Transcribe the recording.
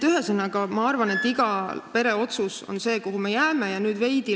Ühesõnaga, ma arvan, et see on iga pere otsus, ja me jääme selle juurde.